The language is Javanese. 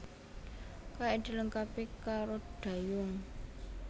Kayak dilengkapi karo dayung